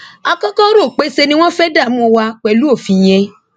a kọkọ rò pé ṣe ni wọn fẹẹ dààmú wa pẹlú òfin yẹn